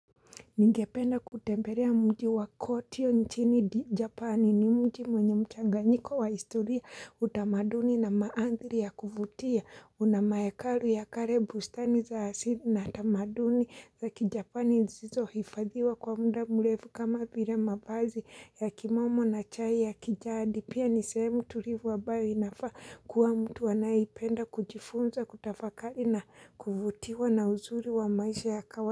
Ningependa kutembelea mji wa kotio nchini Japani ni mji mwenye mchanganyiko wa historia, utamaduni na maandhiri ya kuvutia kuna mahekalu ya kale, bustani za asili na tamaduni za kijapani zilizo hifadhiwa kwa muda mrefu kama vile mavazi ya kimomo na chai ya kijadi. Pia ni sehemu tulivu ambayo inafaa kuwa mtu anayeipenda kujifunza kutafakari na kuvutiwa na uzuri wa maisha ya kawa.